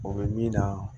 O bɛ min na